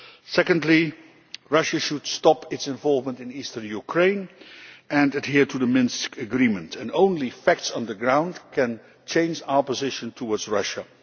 Secondly, Russia should stop its involvement in eastern Ukraine and adhere to the Minsk Agreement and only facts on the ground can change our position towards Russia.